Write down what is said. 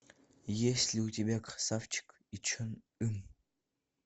есть ли у тебя красавчик и чон ым